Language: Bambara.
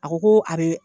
A ko ko a be